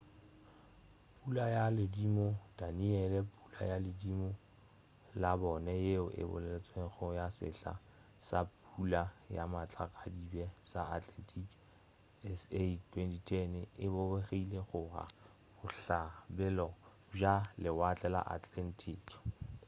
pula ya ledimo danielle pula ya ledimo la bone yeo e boletšwego ya sehla sa pula ya matlakadibe sa atlantic sa 2010 e bopegile go la bohlabela bja lewatle la atlantic